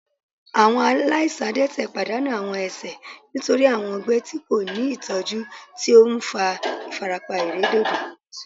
Awọn alaisan adẹtẹ padanu awọn ẹsẹ nitori awọn ọgbẹ ti ko ni itọju ti o nfa ifarapa iredodo